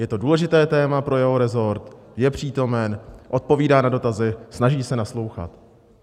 Je to důležité téma pro jeho rezort, je přítomen, odpovídá na dotazy, snaží se naslouchat.